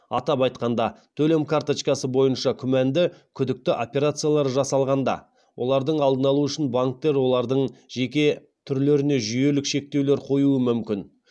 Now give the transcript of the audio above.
атап айтқанда төлем карточкасы бойынша күмәнді күдікті операциялар жасалғанда олардың алдын алу үшін банктер олардың жеке түрлеріне жүйелік шектеулер қоюы мүмкін